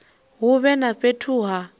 hu vhe na fhethu ha